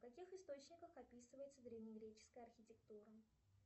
в каких источниках описывается древнегреческая архитектура